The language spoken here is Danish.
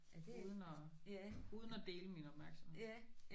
Uden at uden at dele om opmærksomhed